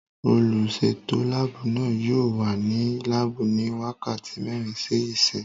Olùsètò láàbù náà yóò wà ní láàbù ní wákàtí mẹ́rin sí ìsín